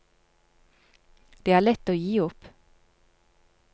Det er lett å gi opp.